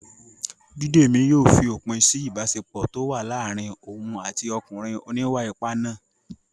Bídèmí yóò fi òpin sí ìbáṣepọ̀ tó wà láàárín òun àti ọkùnrin oníwà-ipá náà